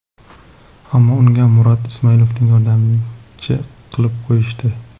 Ammo unga Murod Ismoilovni yordamchi qilib qo‘yishdi.